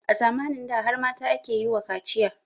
A zamanin da har mata ake yi wa kaciya